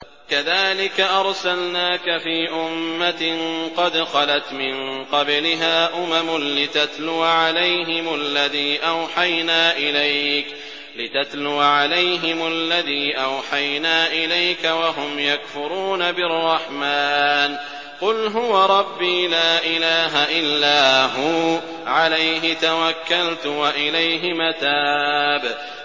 كَذَٰلِكَ أَرْسَلْنَاكَ فِي أُمَّةٍ قَدْ خَلَتْ مِن قَبْلِهَا أُمَمٌ لِّتَتْلُوَ عَلَيْهِمُ الَّذِي أَوْحَيْنَا إِلَيْكَ وَهُمْ يَكْفُرُونَ بِالرَّحْمَٰنِ ۚ قُلْ هُوَ رَبِّي لَا إِلَٰهَ إِلَّا هُوَ عَلَيْهِ تَوَكَّلْتُ وَإِلَيْهِ مَتَابِ